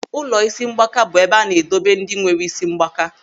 Ụlọ isi mgbaaka bụ ebe a na-edobe ndị nwere isi mgbaaka.